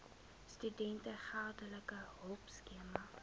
studente geldelike hulpskema